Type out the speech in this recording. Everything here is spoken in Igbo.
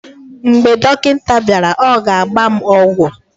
mgbe dọkịta bịara, ọ ga-agba m ọgwụ